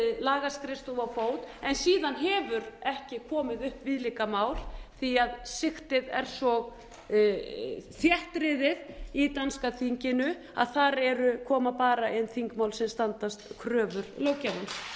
lagaskrifstofa á fót en síðan hefur ekki komið upp viðlíka mál því sigtið er svo þéttriðið í danska þinginu að þar koma bara inn þingmál sem standast kröfur löggjafans